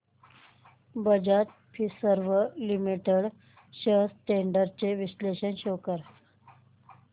Bajaj Finserv limited shares trends चे विश्लेषण show कर